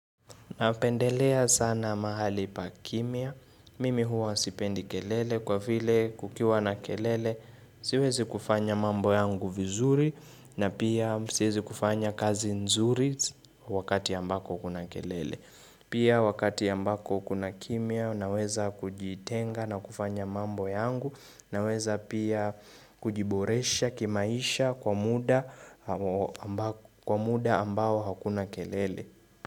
Napendelea sana mahali pa kimya. Mimi huwa sipendi kelele kwa vile kukiwa na kelele. Siwezi kufanya mambo yangu vizuri na pia siwezi kufanya kazi nzuri wakati ambako kuna kelele. Pia wakati ambako kuna kimya naweza kujitenga na kufanya mambo yangu naweza pia kujiboresha kimaisha kwa muda ambao hakuna kelele.